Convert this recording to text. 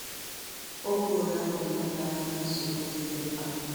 Ọ kwuru na a ga-eleba anya na nsogbu ndị dị mkpa.